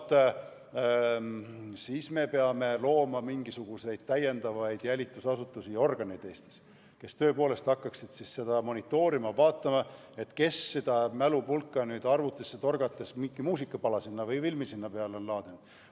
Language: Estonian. Vaat, siis me peame Eestis juurde looma mingisuguseid jälitusasutusi ja -organeid, kes tõepoolest hakkaksid seda monitoorima ja vaatama, kas keegi on mälupulka arvutisse torgates sinna mingi muusikapala või filmi peale laadinud.